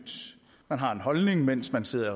man har en holdning mens man sidder